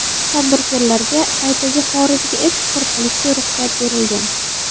Tadbirkorlarga qaytaga xorijga eksport qilishga ruxsat berilgan.